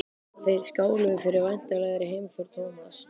Þeir skáluðu fyrir væntanlegri heimför Thomas.